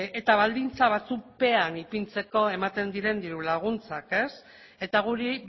eta baldintza batzuk pean ipintzeko ematen diren diru laguntzak eta guri